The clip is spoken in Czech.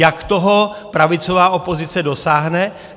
Jak toho pravicová opozice dosáhne?